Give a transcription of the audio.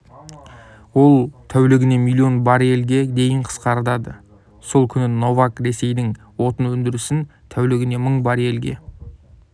ол тәулігіне миллион баррельге дейін қысқарады сол күні новак ресейдің отын өндірісін тәулігіне мың баррельге